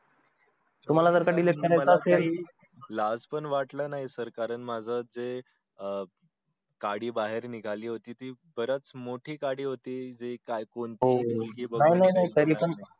तुम्हला काही लाज पण वाटली नई sir कारण माझं ते गाडी बाहेर निगाली होती ती खरंच मोठी गाडी होती